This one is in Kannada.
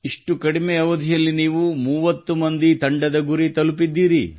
ಇಷ್ಟು ಕಡಿಮೆ ಅವಧಿಯಲ್ಲಿ ನೀವು 30 ಮಂದಿ ತಂಡದ ಗುರಿ ತಲುಪಿದ್ದೀರಿ